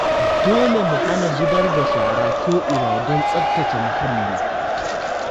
Dole mu hana zubar da shara ko'ina don tsaftace muhalli